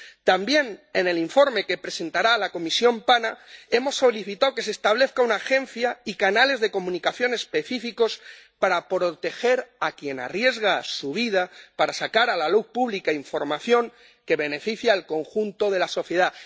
También, en el informe que presentará la Comisión PANA hemos solicitado que se establezca una agencia y canales de comunicación específicos para proteger a quien arriesga su vida para sacar a la luz pública información que beneficia al conjunto de la sociedad.